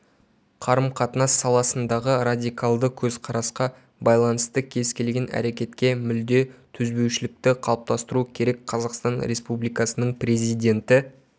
қарым-қатынас саласындағы радикалды көзқарасқа байланысты кез келген әрекетке мүлде төзбеушілікті қалыптастыру керек қазақстан республикасының президенті